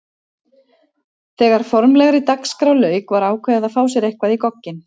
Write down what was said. Þegar formlegri dagskrá lauk var ákveðið að fá sér eitthvað í gogginn.